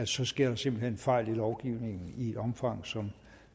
så sker der simpelt hen fejl i lovgivningen i et omfang som